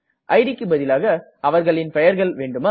idக்கு பதிலாக அவர்களின் பெயர்கள் வேண்டுமா